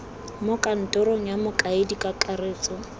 mo kantorong ya mokaedi kakaretso